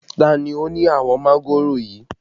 Ta ni ó ni àwọn mángòrò yìí?